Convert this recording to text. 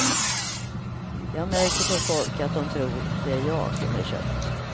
Jag märker på folk att dom tror det är jag som är köpt.